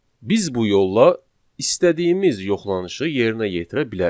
Biz bu yolla istədiyimiz yoxlanışı yerinə yetirə bilərik.